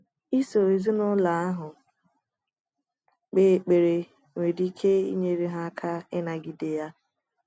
I so ezinụlọ ahụ kpee ekpere nwere ike inyere ha aka ịnagide ya.